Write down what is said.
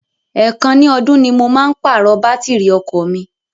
Èèkàn ní ọdún ni mo máa ń pàrọ̀ bátìrì ọkọ̀ mi.